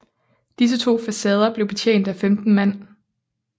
Disse to facader blev betjent af 15 mand